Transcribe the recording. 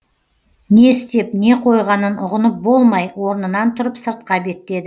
не істеп не қойғанын ұғынып болмай орнынан тұрып сыртқа беттеді